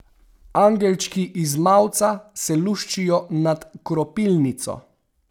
Angelčki iz mavca se luščijo nad kropilnico.